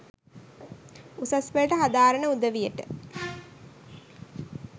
උසස් පෙළට හදාරන උදවියට